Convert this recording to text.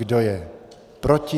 Kdo je proti?